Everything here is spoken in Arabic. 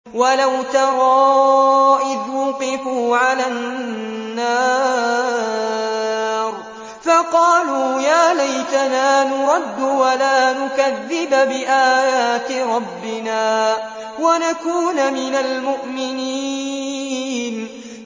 وَلَوْ تَرَىٰ إِذْ وُقِفُوا عَلَى النَّارِ فَقَالُوا يَا لَيْتَنَا نُرَدُّ وَلَا نُكَذِّبَ بِآيَاتِ رَبِّنَا وَنَكُونَ مِنَ الْمُؤْمِنِينَ